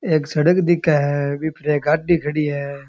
एक सड़क दिखे है बी पर एक गाड़ी खड़ी है।